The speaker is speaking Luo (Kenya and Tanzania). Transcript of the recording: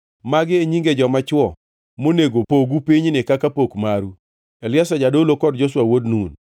“Magi e nyinge joma chwo monego pogu pinyni kaka pok maru: Eliazar jadolo kod Joshua wuod Nun.